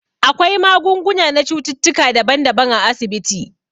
Akwai magunguna na cututtuka daban daban a asibiti